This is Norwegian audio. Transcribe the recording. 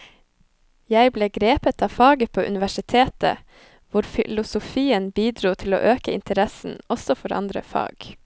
Jeg ble grepet av faget på universitetet, hvor filosofien bidro til å øke interessen også for andre fag.